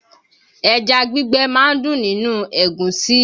Ẹja gbígbẹ máa ń dùn nínú ẹ̀gúsí